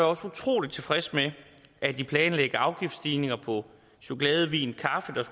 også utrolig tilfreds med at de planlagte afgiftsstigninger på chokolade vin